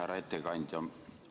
Härra ettekandja!